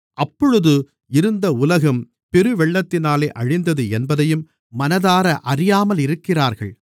அப்பொழுது இருந்த உலகம் பெருவெள்ளத்தினாலே அழிந்தது என்பதையும் மனதார அறியாமலிருக்கிறார்கள்